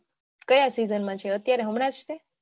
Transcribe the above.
કયા season માં છે અત્યારે હમણાં છે